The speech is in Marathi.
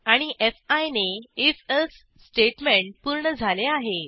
आणि फी ने if एल्से स्टेटमेंट पूर्ण झाले आहे